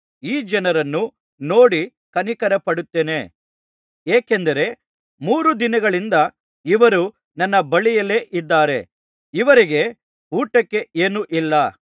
ಈ ಜನರನ್ನು ನೋಡಿ ಕನಿಕರಪಡುತ್ತೇನೆ ಏಕೆಂದರೆ ಮೂರು ದಿನಗಳಿಂದ ಇವರು ನನ್ನ ಬಳಿಯಲ್ಲಿದ್ದಾರೆ ಇವರಿಗೆ ಊಟಕ್ಕೆ ಏನೂ ಇಲ್ಲ